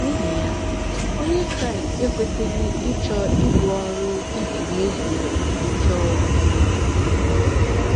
N’ihi ya, Onye Kraịst ekwesịghị ịchọ ibu ọrụ iji mezuo ọchịchọ onwe onye.